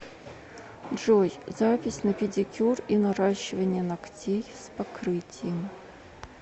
джой запись на педикюр и наращивание ногтей с покрытием